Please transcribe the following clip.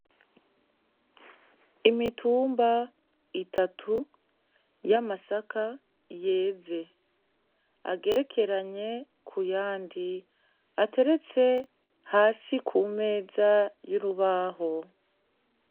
Imitumba itatu y'amasaka yeze agerekeranye ku yandi ateretse hasi ku meza y'urubaho.